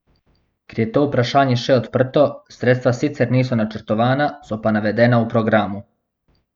Ker je to vprašanje še odprto, sredstva sicer niso načrtovana, so pa navedena v programu.